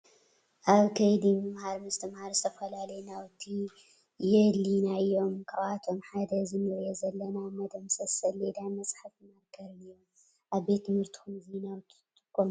አብ ከይዲ ምምሃረ ምስትምሃር ዝተፈላለዩ ናውቲ የዲሊዩና እዮም። ካብአቶም ሓደ እዚ እንሪኦ ዘለና መድምሰሲ ሰሌዳን መፅሓፊ ማርከርን እዩም። አብ ቤት ትምህርትኩም እዚ ናውቲ ትጥቀሙ ዶ?